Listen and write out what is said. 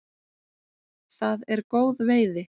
Það er góð veiði.